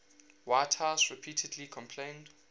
whitehouse repeatedly complained